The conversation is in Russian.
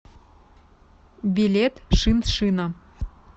билет шиншина